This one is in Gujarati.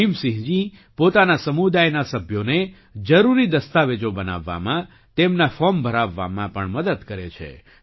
ભીમસિંહજી પોતાના સમુદાયના સભ્યોને જરૂરી દસ્તાવેજો બનાવવામાં તેમના ફૉર્મ ભરાવવામાં પણ મદદ કરે છે